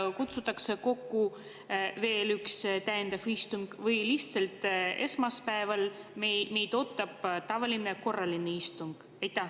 Kas kutsutakse kokku veel üks täiendav istung või lihtsalt esmaspäeval ootab meid tavaline korraline istung?